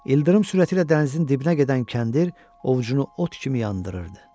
İldırım sürətilə dənizin dibinə gedən kəndir ovucunu ot kimi yandırırdı.